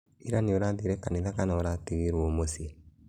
Ira nĩũrathire kanitha kana ũratigiro mũciĩ?